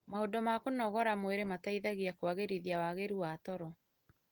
Maũndũ ma kũnogora mwĩrĩ mateithagia kũagĩrithia wagĩrĩru wa toro,